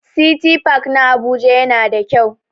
City park na Abuja yana da kyau.